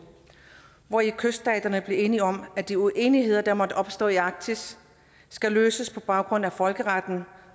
hvori kyststaterne blev enige om at de uenigheder der måtte opstå i arktis skulle løses på baggrund af folkeretten